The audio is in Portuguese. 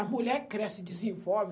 A mulher cresce, desenvolve.